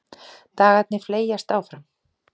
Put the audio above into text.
Dagarnir fleygjast áfram.